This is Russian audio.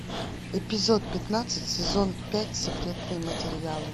эпизод пятнадцать сезон пять секретные материалы